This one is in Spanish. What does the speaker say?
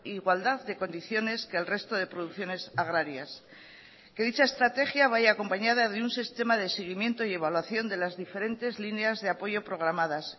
igualdad de condiciones que el resto de producciones agrarias que dicha estrategia vaya acompañada de un sistema de seguimiento y evaluación de las diferentes líneas de apoyo programadas